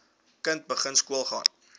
kind begin skoolgaan